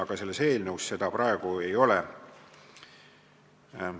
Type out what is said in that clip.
Aga selles eelnõus seda ettepanekut praegu ei ole.